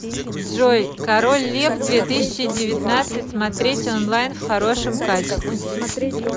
джой король лев две тысячи девятнадцать смотреть онлайн в хорошем качестве